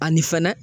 Ani fɛnɛ